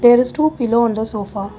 there is two pillow on the sofa.